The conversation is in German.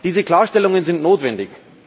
Diese Klarstellungen sind notwendig.